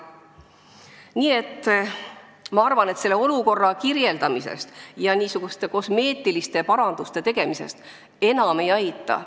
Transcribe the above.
" Nii et ma arvan, et olukorra kirjeldamisest ja kosmeetiliste paranduste tegemisest enam ei aita.